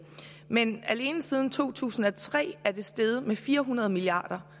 men alene siden to tusind og tre er det steget med fire hundrede milliard